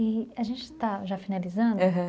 E a gente está já finalizando, aham